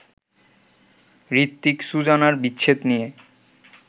হৃত্বিক-সুজানার বিচ্ছেদ নিয়ে